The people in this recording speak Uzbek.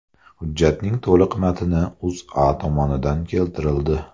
Hujjatning to‘liq matni O‘zA tomonidan keltirildi .